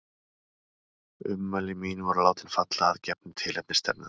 Ummæli mín voru látin falla að gefnu tilefni stefnenda.